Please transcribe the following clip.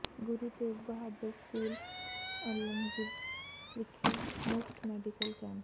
ਗੁਰੂ Tegh Bahadur school Alamgir ਵਿਖੇ ਮੁਫ਼ਤ medical camp